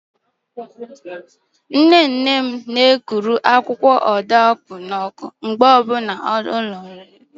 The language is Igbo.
Nne nne m na-ekuba akwụkwọ ọdaaopuo ahụrụ n'ọkụ mgbe ọbụla agbọ hụrụ ya